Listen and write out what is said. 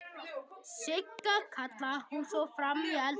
Sigga!, kallaði hún svo fram í eldhúsið.